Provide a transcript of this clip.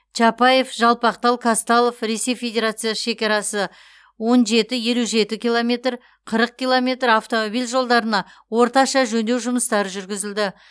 чапаев жалпақтал қазталов ресей федерациясы шекарасы он жеті елу жеті километр қырық километр автомобиль жолдарына орташа жөндеу жұмыстары жүргізілді